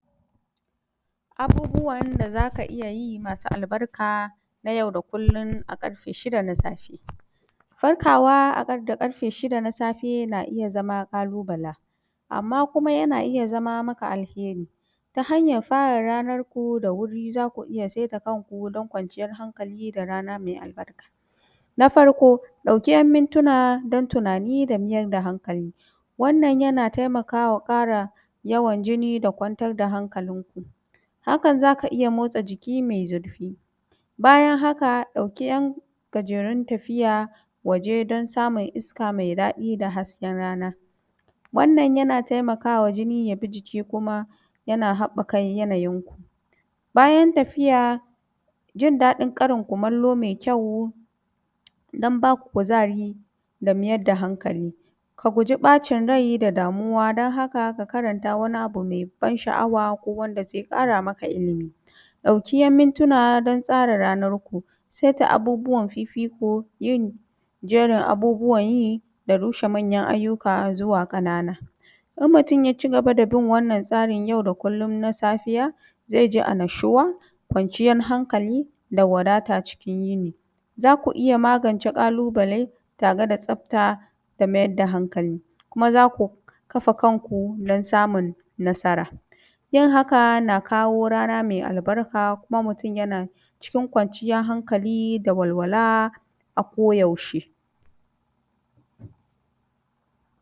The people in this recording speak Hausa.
Abubuwan da za ka ija yi masu albarka na jau da kullun a ƙarfe shida safe, farkawa da ƙarfe shida na safe na iya zama ƙalubala. Amma kuma yana iya zama maka alheri, ta hanyar fara ranarku da wuri. Za ku iya seta kanku don kwanciyar hankali da rana mai albarka. Na farko ɗauke mintuna don tunani da mijar da hankali, wannan yana taimakawa fara yawan jini da kwantar da hankalin ku. Hakan za ka iya motsa jiki mai zurfi. Bayan haka ɗauki yan gajerun tafiya waje don samun iska mai daɗi da hasken rana. Wannan yana taimakawa jini ya bi jiki, kuma jana haɓɓaka yanayin ku. Bayan tafiya, jin daɗin ƙarin kumallo mai kyau don ba ku kuzari da miyar da hankali. Ka guje ɓacin rai da damuwa don haka, ka karanta wani abu mai ban sha’awa ko wanda zai ƙara maka ilimi. Ɗauki ‘yan mintuna don tsara ranar ku, seta abubuwan fifiko, yin jerin abubuwan yi da rushe manyan ayyuka zuwa ƙanana. Idan mutu ya cigaba da bin wannan tsarin yau da kullum na safiya, zai ji ʔnnashuwa, kwanciyan hankali, da wadata cikin yini. Za ku iya magance ƙalubale, tare tsabta da mayar da hankali, kuma za ku kafa kan ku don samun nasara. Yin haka na kawo rana mai albarka, kuma mutum yana ciin kwanciyar hankali da walwala a koyaushe.